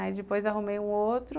Aí depois arrumei um outro.